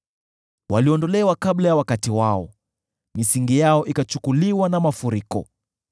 Waliondolewa kabla ya wakati wao, misingi yao ikachukuliwa na mafuriko.